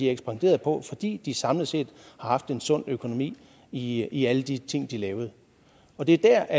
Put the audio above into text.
ekspanderet på fordi de samlet set har haft en sund økonomi i i alle de ting de lavede og det er der